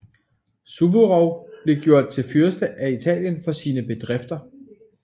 Suvorov blev gjort til fyrste af Italien for sine bedrifter